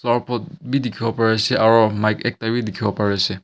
aru pot bhi dekhi bo pare ase aru mic ekta bhi dekhi bo Pari ase.